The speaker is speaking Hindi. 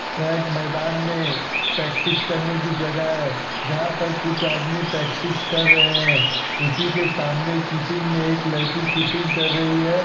यह एक मैदान में प्रैक्टिस करने की जगह है जहाँ पर कुछ आदमी प्रैक्टिस कर रहे हैं इसी के सामने कीपिंग में एक लड़की कीपिंग कर रही है।